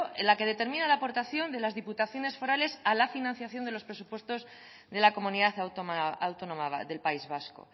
la que determina la aportación de las diputaciones forales a la financiación de los presupuestos de la comunidad autónoma del país vasco